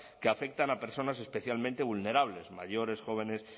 que afectan a personas especialmente vulnerables mayores jóvenes